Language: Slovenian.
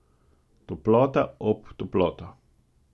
Toplota ob toploto.